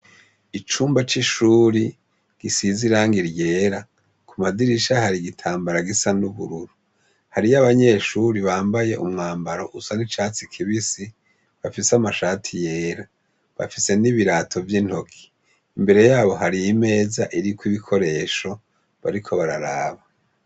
Icumba cishuri gisize irangi ryera kumadirisha hari igitambara gusa nubururu hariyo abanyeshure bambaye umwambaro usa nicatsi kibisi, bafise amashati yera, bafise nibirato yintoke, imbere yabo hari imeza iriko ibikoresho bariko bararaba.